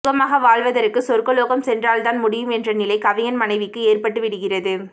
சுகமாக வாழுவதற்கு சொர்க்கலோகம் சென்றால்தான் முடியும் என்ற நிலை கவிஞன் மனைவிக்கு ஏற்பட்டு விடுகிறது